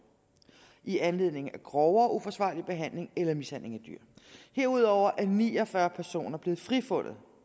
i anledning af grovere uforsvarlig behandling eller mishandling af dyr herudover er ni og fyrre personer blevet frifundet